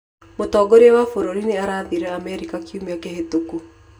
Mutongoria wa bũrũri nĩ athiire Amerika kiumia kĩhĩtũku.